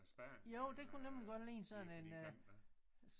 Øh Spanien øh nede på de kanter